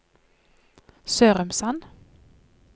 Sørumsand